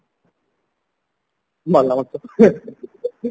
ଭଲ କରିଚ